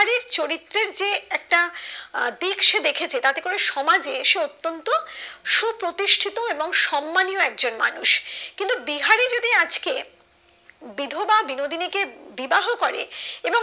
চরিত্রের যে একটা আহ দিক সে দেখেছে তাতেই করে সমাজে সে অতন্ত সুপ্রতিষ্ঠিত এবং সম্মানীও একজন মানুষ কিন্তু বিহারি যদি আজকে বিধবা বিনোদিনী কে বিবাহ করে